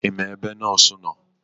Ima ebe nọọsụ nọọ?